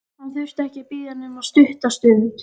Hann þurfti ekki að bíða nema stutta stund.